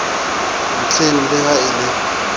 ntlheng le ha e le